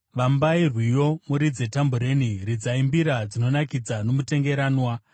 Vambai rwiyo, muridze tambureni, ridzai mbira dzinonakidza nomutengeranwa.